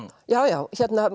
já